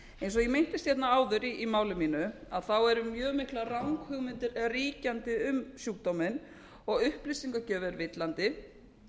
eins og ég minntist á áður í máli mínu eru mjög miklar ranghugmyndir ríkjandi um sjúkdóminn og upplýsingagjöf er villandi